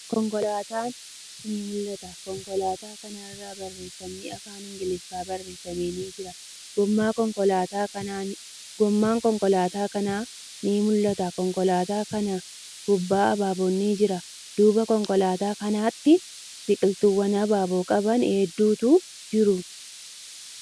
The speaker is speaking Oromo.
Konkolaatan ni mul'ata. Konkolaataa kana irra barreeffamni afaan Ingiliffaan barreeffame ni jira. Goomman konkolaataa kanaa ni mul'ata. Konkolaataa kana gubbaa habaabon ni jira. Duuba konkolaataa kanaatti biqiltuuwwan habaaboo qaban hedduutu jiru.